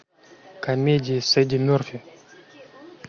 комедии с эдди мерфи